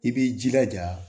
I b'i jilaja